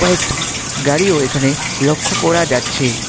কয়েকটি গাড়িও এখানে লক্ষ্য করা যাচ্ছে।